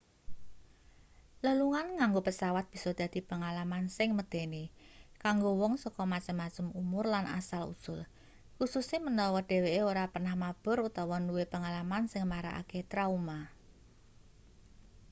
lelungan nganggo pesawat bisa dadi pengalaman sing medeni kanggo wong saka macem-macem umur lan asal usul kususe menawa dheweke ora pernah mabur utawa nduwe pengalaman sing marakake trauma